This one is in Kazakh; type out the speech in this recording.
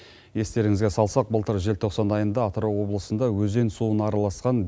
естеріңізге салсақ былтыр желтоқсан айында атырау облысында өзен суына араласқан